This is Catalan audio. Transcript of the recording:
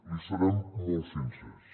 li serem molt sincers